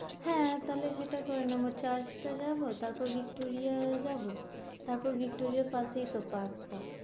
হ্যাঁ, হ্যাঁ তাহলে সেটা করে নেব, চার্চটা যাব। তারপর ভিক্টোরিয়া যাব তারপর ভিক্টোরিয়ার পাশেই তো পার্কটা,